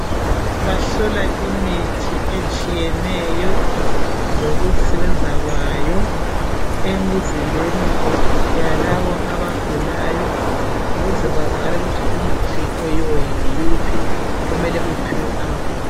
Bahola imithi etshiyeneyo lokusebenza kwayo emizimbeni yalabo abagulayo ukuze kwazakale ukuthi umuthi oyiwo yiwuphi omele uphiwe abagulayo.